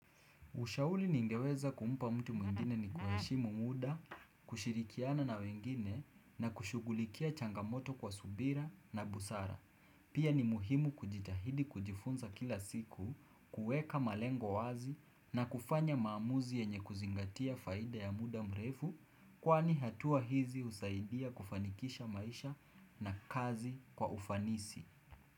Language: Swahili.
Ushauri ningeweza kumpa mtu mwingine ni kuheshimu muda, kushirikiana na wengine na kushughulikia changamoto kwa subira na busara. Pia ni muhimu kujitahidi kujifunza kila siku, kuweka malengo wazi na kufanya maamuzi yenye kuzingatia faida ya muda mrefu kwani hatua hizi husaidia kufanikisha maisha na kazi kwa ufanisi.